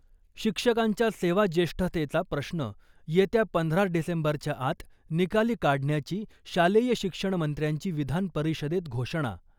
शिक्षकांच्या सेवाज्येष्ठतेचा प्रश्न येत्या पंधरा डिसेंबरच्या आत निकाली काढण्याची शालेय शिक्षणमंत्र्यांची विधान परिषदेत घोषणा.